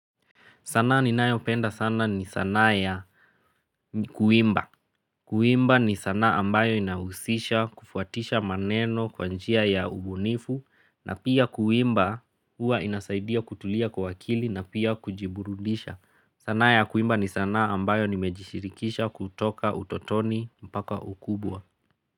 Sanaa ninayopenda sana ni sanaa ya kuimba. Kuimba ni sanaa ambayo inahuzisha kufuatisha maneno kwa njia ya ubunifu na pia kuimba huwa inasaidia kutulia kwa uwakili na pia kujiburudisha. Sana ya kuimba ni sana ambayo nimejishirikisha kutoka utotoni mpaka ukubwa.